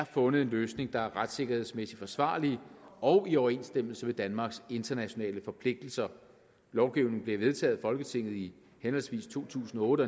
fundet en løsning der er retssikkerhedsmæssigt forsvarlig og i overensstemmelse med danmarks internationale forpligtelser lovgivningen blev vedtaget af folketinget i henholdsvis to tusind og otte